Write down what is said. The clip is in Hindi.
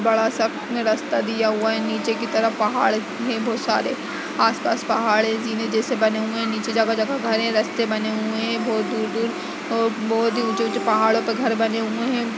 बड़ा-सा रास्ता दिया हुआ है नीचे की तरफ पहाड़ है बहुत सारे आसपास पहाड़े जीने जैसे बने हुए हैं। नीचे जगह-जगह घरे रास्ते बने हुए हैं बहुत दूर-दूर और बहुत ही ऊँचे -ऊँचे पहाड़ों पर घर बने हुए हैं।